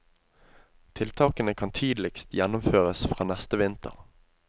Tiltakene kan tidligst gjennomføres fra neste vinter.